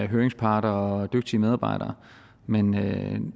høringsparter og dygtige medarbejdere men